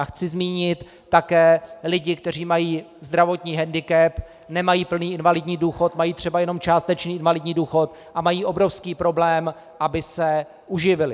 A chci zmínit také lidi, kteří mají zdravotní hendikep, nemají plný invalidní důchod, mají třeba jenom částečný invalidní důchod a mají obrovský problém, aby se uživili.